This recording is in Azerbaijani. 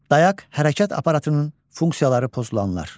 Dayaq hərəkət aparatının funksiyaları pozulanlar.